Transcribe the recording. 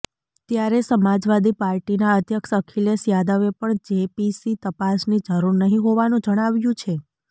ત્યારે સમાજવાદી પાર્ટીના અધ્યક્ષ અખિલેશ યાદવે પણ જેપીસી તપાસની જરૂર નહીં હોવાનું જણાવ્યું છે